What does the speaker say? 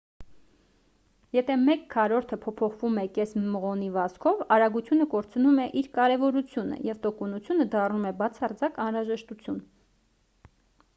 եթե մեկ քառորդը փոփոխվում է կես մղոնի վազքով արագությունը կորցնում է իր կարևորությունը և տոկունությունը դառնում է բացարձակ անհրաժեշտություն